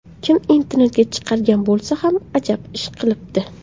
Kim internetga chiqargan bo‘lsa ham, ajab ish qilibdi.